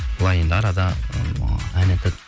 былай енді арада ыыы ән айтады